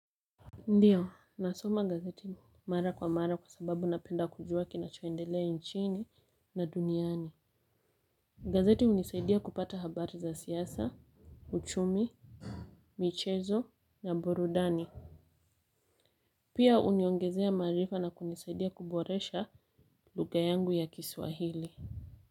Ndiyo nasoma gazeti mara kwa mara kwa sababu napenda kujua kinachoendelea nchini na duniani. Gazeti hunisaidia kupata habari za siasa, uchumi, michezo, na burudani. Pia huniongezea maarifa na kunisaidia kuboresha lugha yangu ya kiswahili.